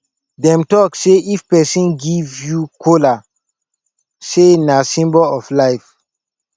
dem talk sey if pesin give you kola sey na symbol of life